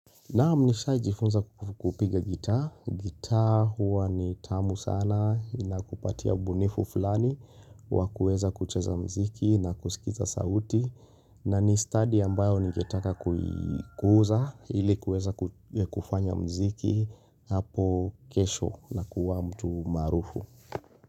Naam nishaijifunza kupiga gita, gita huwa ni tamu sana inakupatia ubunifu fulani wa kueza kucheza mziki na kusikiza sauti na ni study ambayo ningetaka kuikuza ili kueza kufanya mziki hapo kesho na kuwa mtu marufu.